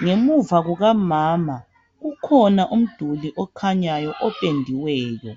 Ngemuva kukamama kukhona umduli okhanyayo opendiweyo.